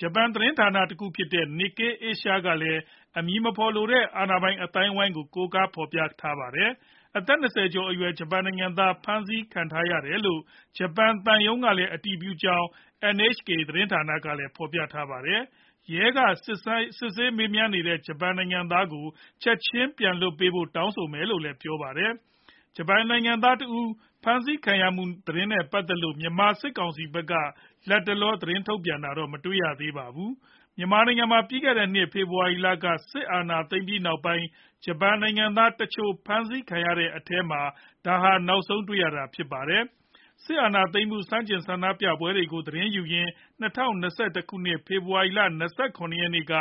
ဂျပန်သတင်းဌာနတခုဖြစ်တဲ့ Nikkei Asia ကလည်း အမည်မဖော်လိုတဲ့ အာဏာပိုင်အသိုင်းအဝိုင်းကို ကိုးကားဖော်ပြခဲ့ပါတယ်။ အသက် ၂၀ ကျော်အရွယ် ဂျပန်နိုင်ငံသား ဖမ်းဆီးခံထားရတယ်လို့ ဂျပန်သံရုံးက အတည်ပြုခဲ့ကြောင်း NHK သတင်းကလည်း ဖော်ပြခဲ့တာပါ။ ရဲကစစ်ဆေးမေးမြန်းနေတဲ့ ဂျပန်နိုင်ငံသားကို ချက်ခြင်း ပြန်လွှတ်ပေးဖို့ တောင်းဆိုမယ်လို့လည်း ပြောပါတယ်။ ဂျပန်နိုင်ငံသားတဦး ဖမ်းဆီးခံရမှု သတင်းနဲ့ ပတ်သက်လို့ မြန်မာစစ်ကောင်စီဖက်က လတ်တလော သတင်းထုတ်ပြန်တာတော့ မတွေ့ရသေးပါဘူး။ မြန်မာနိုင်ငံမှာ ပြီးခဲ့တဲ့နှစ် ဖေဖော်ဝါရီလက စစ်အာဏာသိမ်းပြီးနောက်ပိုင်း ဂျပန်နိုင်ငံသားတချို့ ဖမ်းဆီးခံရတဲ့အထဲမှာ ဒါဟာ နောက်ဆုံးတွေ့ရတာ ဖြစ်ပါတယ်။ စစ်အာဏာသိမ်းမှု ဆန့်ကျင်ဆန္ဒပြပွဲတွေကို သတင်းယူရင်း ၂၀၂၁ ခုနှစ် ဖေဖော်ဝါရီလ ၂၇ ရက်နေ့က